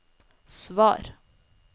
svar